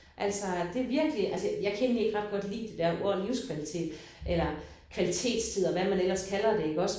Altså det virkelig altså jeg kan egentlig ikke ret godt lide det der ord livskvalitet eller kvalitetstid og hvad man ellers kalder det iggås